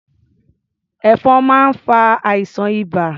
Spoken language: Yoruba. Ẹ̀fọn máa ń fa àìsàn ibà.